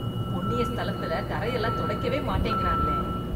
புண்ணிய ஸ்தலத்துல தரை எல்லாம் துடைக்கவே மாட்டீங்கறாங்களே.